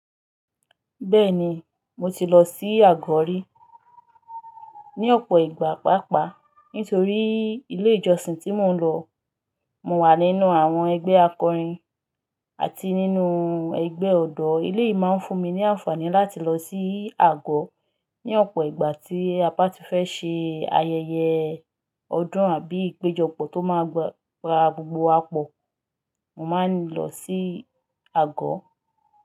Bẹ́ẹ̀ni, mo ti lọ sí àgọ̀ rí ní ọ̀pọ̀ ìgbà páápàá nítorí ilé ìjọsìn tí mò ń lọ, mo wà nínú àwọn ẹgbẹ́ akọrin àti nínú ẹgbẹ́ ọ̀dọ́. Eleyìí máa ń fún mi ní àǹfààní láti lọ sí àgọ́ ní ọ̀pọ̀ ìgbà tí apá ti fẹ́ ṣe ayẹyẹ ọdún àbí ìpéjọpọ̀ tó máa gba gbogbo àpọ̀. Mo máa ń lọ sí Àgọ́.